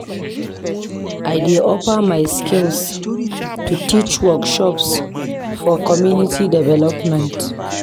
I dey offer my skills to teach workshops for community development.